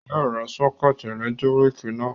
Yóò ra sọ́kẹ́tì ẹ̀lẹ́tíríkì náà